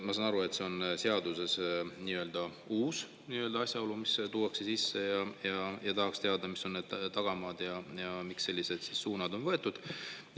Ma saan aru, et see on seaduses nii-öelda uus asjaolu, mis tuuakse sisse, ja tahaks teada, mis on need tagamaad ja miks sellised suunad on võetud.